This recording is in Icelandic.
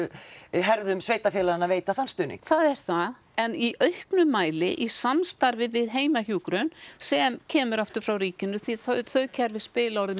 herðum sveitarfélaganna að veita þann stuðning það er það en í auknum mæli í samstarfi við heimahjúkrun sem kemur aftur frá ríkinu því þau kerfi spila orðið